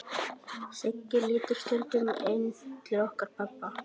Siggi lítur stundum inn til okkar pabba.